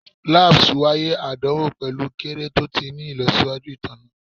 Labs waiye adanwo pẹlu kere to ti ni ilọsiwaju itanna